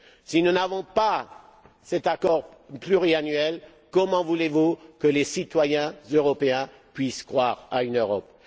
Si nous n'avons pas cet accord pluriannuel, comment voulez vous que les citoyens européens puissent croire à une Europe?